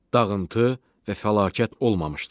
Dağıntı və fəlakət olmamışdı.